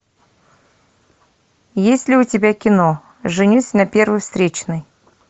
есть ли у тебя кино женюсь на первой встречной